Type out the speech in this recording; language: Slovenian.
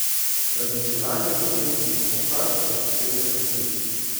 Tradicionalni bohinjski mohant je posebnež med siri.